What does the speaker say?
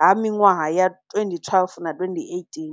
ha minwaha ya 2012 na 2018.